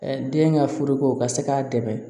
den ka furuko ka se k'a dɛmɛ